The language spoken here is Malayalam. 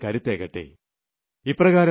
അതിലൂടെ ജനശക്തിയ്ക്ക് കൂടുതൽ കരുത്തേറട്ടെ